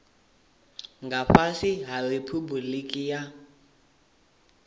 nga fhasi ha riphabuliki ya